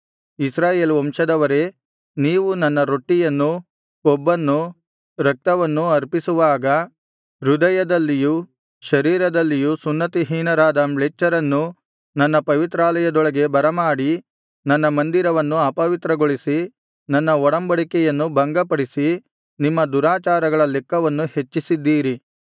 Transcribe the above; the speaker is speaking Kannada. ಇಸ್ರಾಯೇಲ್ ವಂಶದವರೇ ನೀವು ನನ್ನ ರೊಟ್ಟಿಯನ್ನೂ ಕೊಬ್ಬನ್ನೂ ರಕ್ತವನ್ನೂ ಅರ್ಪಿಸುವಾಗ ಹೃದಯದಲ್ಲಿಯೂ ಶರೀರದಲ್ಲಿಯೂ ಸುನ್ನತಿಹೀನರಾದ ಮ್ಲೇಚ್ಛರನ್ನು ನನ್ನ ಪವಿತ್ರಾಲಯದೊಳಗೆ ಬರಮಾಡಿ ನನ್ನ ಮಂದಿರವನ್ನು ಅಪವಿತ್ರಗೊಳಿಸಿ ನನ್ನ ಒಡಂಬಡಿಕೆಯನ್ನು ಭಂಗಪಡಿಸಿ ನಿಮ್ಮ ದುರಾಚಾರಗಳ ಲೆಕ್ಕವನ್ನು ಹೆಚ್ಚಿಸಿದ್ದೀರಿ